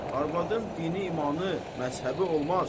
Arvadın dini, imanı, məzhəbi olmaz.